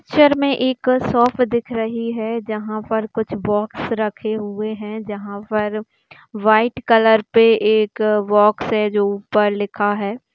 Picture में एक shop दिख रही है जहां पर कुछ बॉक्स रखे हुए हैं जहां पर वाइट कलर पे एक बॉक्स है जो ऊपर लिखा है। पिक्चर में एक शॉप दिख रही है जहां पर कुछ बॉक्स रखे हुए हैं जहां पर वाइट कलर पे एक बॉक्स है जो ऊपर लिखा है।